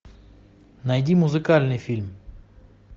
найди музыкальный фильм